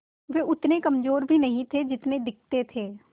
वे उतने कमज़ोर भी नहीं थे जितने दिखते थे